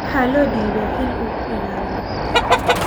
Waxaa loo dhiibay xil uu ku ilaalinayo